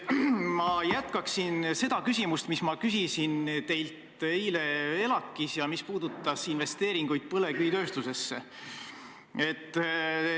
Ma jätkan seda küsimust, mida ma küsisin teilt eile ELAK-is ja mis puudutas investeeringuid põlevkivitööstusesse.